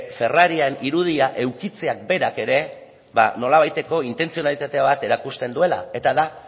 ferrariaren irudia edukitzea berak ere nolabaiteko intentzionalitate bat erakusten duela eta da